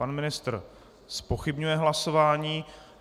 Pan ministr zpochybňuje hlasování.